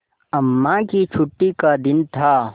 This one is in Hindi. अम्मा की छुट्टी का दिन था